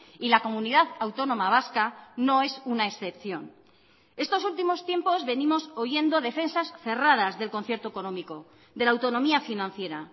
y la comunidad autónoma vasca no es una excepción estos últimos tiempos venimos oyendo defensas cerradas del concierto económico de la autonomía financiera